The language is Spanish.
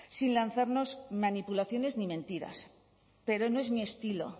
sin lanzarnos manipulaciones ni mentiras pero no es mi estilo